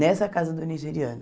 Nessa casa do nigeriano.